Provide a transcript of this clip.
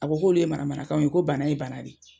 A ko k'olu ye manamanakanw ye ko bana ye bana de.